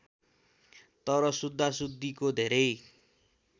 तर शुद्धाशुद्धिको धेरै